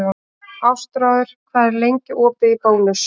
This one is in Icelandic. Ástráður, hvað er lengi opið í Bónus?